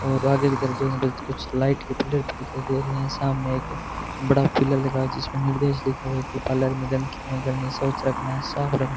और आगे की तरफ देखने पर कुछ लाइट की पिलर भी दिखाई दे रही है सामने एक बड़ा पिलर लगा जिसमें निर्देश लिखा हुआ है की पार्लर गंदगी नहीं करनी स्वच्छ रखना है साफ रखना है।